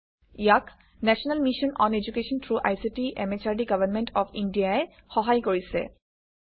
ইয়াক national mission on education through ICT MHRD government of India ই সহায় কৰিছে